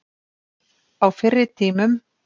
Á fyrri tímum.